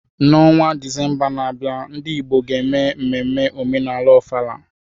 N'ọnwa Disemba na-abịa, ndị Igbo ga-eme mmemme omenala Ofala.